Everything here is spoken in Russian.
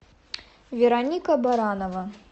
вероника баранова